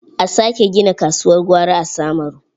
A sake gina kasuwar gwari a Samaru.